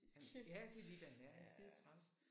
Ja det er lige hvad han er han er skidetræls